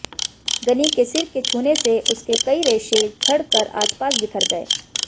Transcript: गनी के सिर के छूने से उसके कई रेशे झडक़र आसपास बिखर गये